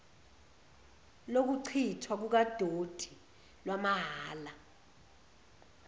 lokuchithwa kukadoti lwamahhala